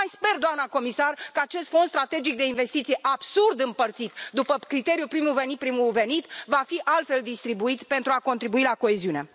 Mai sper, doamnă comisar, că acest fond strategic de investiții, absurd împărțit după criteriul primul venit, primul servit, va fi altfel distribuit pentru a contribui la coeziune.